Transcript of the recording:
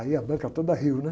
Aí a banca toda riu, né?